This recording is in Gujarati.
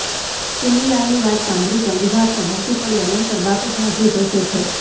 ચુનીલાલની વાત સાંભળી ચંદુભા પણ હસી પડ્યા નહીંતર બાપુ ભાગ્યે જ હસે છે